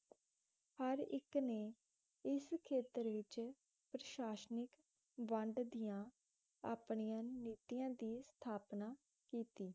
ਹਰ ਇਕ ਨੇ ਇਸ ਖੇਤਰ ਵਿਚ ਪ੍ਰਸ਼ਾਸ਼ਨਿਕ ਵੰਡ ਦੀਆਂ ਆਪਣੀਆਂ ਨੀਤੀਆਂ ਦੀ ਸਥਾਪਨਾ ਕੀਤੀ